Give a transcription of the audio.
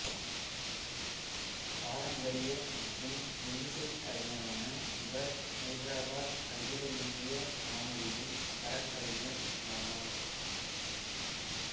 பாரம்பரிய மற்றும் மெல்லிசைக் கலைஞரான இவர் ஐதராபாத் அகில இந்திய வானொலியின் தரக்கலைஞர் ஆவார்